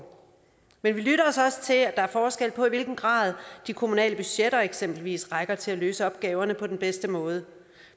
men vi lytter os også til at der er forskel på i hvilken grad de kommunale budgetter eksempelvis rækker til at løse opgaverne på den bedste måde